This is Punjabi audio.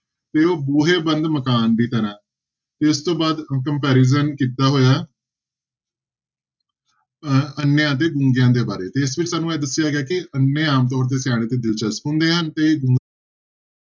ਤੇ ਉਹ ਬੂਹੇ ਬੰਦ ਮਕਾਨ ਦੀ ਤਰ੍ਹਾਂ ਤੇ ਇਸ ਤੋਂ ਬਾਅਦ comparison ਕੀਤਾ ਹੋਇਆ ਅਹ ਅੰਨਿਆਂ ਅਤੇ ਗੁੰਗਿਆਂ ਦੇ ਬਾਰੇ, ਤੇ ਇਸ ਵਿੱਚ ਸਾਨੂੰ ਇਹ ਦੱਸਿਆ ਗਿਆ ਕਿ ਅੰਨੇ ਆਮ ਤੌਰ ਤੇ ਸਿਆਣੇ ਤੇ ਦਿਲਚਸਪ ਹੁੰਦੇ ਹਨ ਤੇ